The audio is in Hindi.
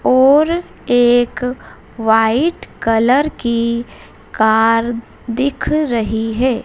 और एक वाइट कलर कि कार दिख रही हैं।